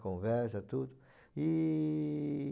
conversa, tudo. E...